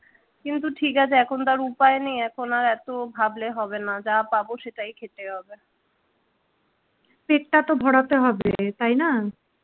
কিন্তু ঠিক আছে এখন তার উপায় নেই এখন আর এত ভাবলে হবে না যা পাব সেটাই খেতে হবে পেটটা তো ভরাতে হবে তাই না